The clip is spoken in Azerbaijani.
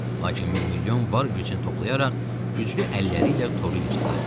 Lakin mirmilyon var gücünü toplayaraq güclü əlləri ilə toru yırtdı.